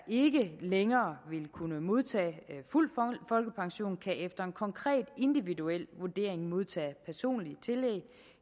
ikke længere vil kunne modtage fuld folkepension kan efter en konkret individuel vurdering modtage personlige tillæg